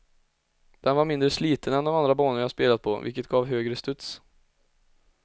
Den var mindre sliten än de andra banor jag spelat på vilket gav högre studs.